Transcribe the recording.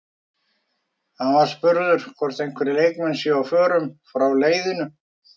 Hann var spurður hvort einhverjir leikmenn séu á förum frá leiðinu?